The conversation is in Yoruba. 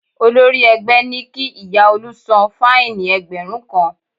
Olórí ẹgbẹ́ ní kí ìyá Olú san fáìnì ẹgbẹ̀rún kan